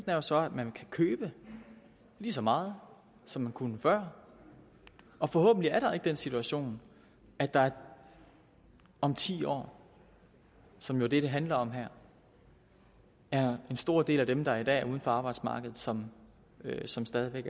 er jo så at man kan købe lige så meget som man kunne før og forhåbentlig er der ikke den situation at der om ti år som jo er det det handler om her er en stor del af dem der i dag er uden for arbejdsmarkedet som som stadig væk